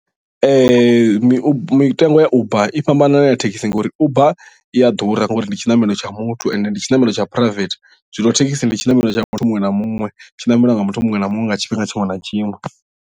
mitengo ya uber i fhambana na ya thekhisi ngori uber i a ḓura ngori ndi tshiṋamelo tsha muthu ende ndi tshiṋamelo tsha private zwino thekhisi ndi tshiṋamelo tsha muthu muṅwe na muṅwe tshiṋameliwa nga muthu muṅwe na muṅwe nga tshifhinga tshiṅwe na tshiṅwe.